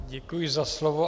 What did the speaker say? Děkuji za slovo.